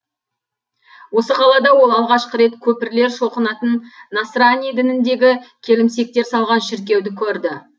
осы қалада ол алғашқы рет көпірлер шоқынатын насрани дініндегі келімсектер салған шіркеуді көрді